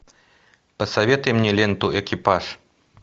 посоветуй мне ленту экипаж